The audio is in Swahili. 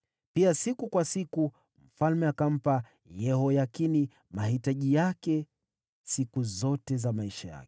Siku kwa siku mfalme alimpa Yehoyakini posho siku zote za maisha yake.